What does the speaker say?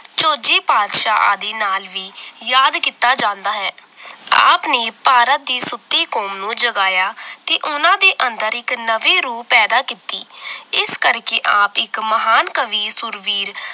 ਝੋਜੀ ਪਾਤਸ਼ਾਹ ਆਦੀ ਨਾਲ ਵੀ ਯਾਦ ਕੀਤਾ ਜਾਂਦਾ ਹੈ ਆਪ ਨੇ ਭਾਰਤ ਦੀ ਸੁੱਤੀ ਕੌਮ ਨੂੰ ਜਗਾਇਆ ਤੇ ਉਹਨਾਂ ਦੇ ਅੰਦਰ ਇੱਕ ਨਵੀਂ ਰੂਹ ਪੈਦਾ ਕੀਤੀ ਇਸ ਕਰਕੇ ਆਪ ਇੱਕ ਮਹਾਨ ਕਵੀ ਸੂਰਵੀਰ